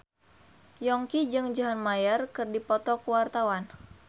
Yongki jeung John Mayer keur dipoto ku wartawan